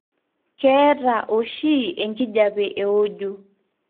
keeta oshi enkijape weojo.